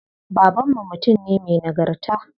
Baban mu mutum ne me nagarta.